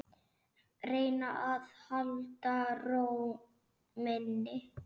Reyna að halda ró minni.